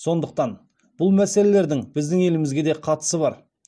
сондықтан бұл мәселелердің біздің елімізге де қатысы бар